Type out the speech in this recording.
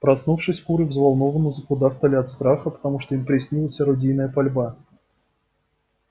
проснувшись куры взволнованно закудахтали от страха потому что им приснилась орудийная пальба